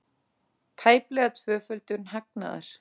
Tæplega tvöföldun hagnaðar